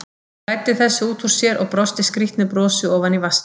Hún læddi þessu út úr sér og brosti skrýtnu brosi ofan í vaskinn.